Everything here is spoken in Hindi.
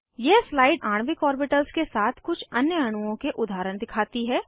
यह स्लाइड आणविक ऑर्बिटल्स के साथ कुछ अन्य अणुओं के उदाहरण दिखाती है